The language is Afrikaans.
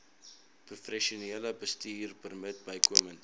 professionele bestuurpermit bykomend